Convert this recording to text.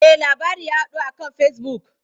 Eh, labari ya yaɗu a kan Facebook.